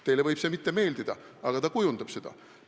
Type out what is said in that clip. Teile võib see mitte meeldida, aga ta kujundab seda.